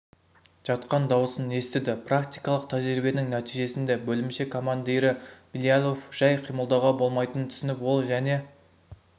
жатқан дауысын естіді практикалық тәжірибенің нәтижесінде бөлімше командирі билялов жәй қимылдауға болмайтынын түсініп ол және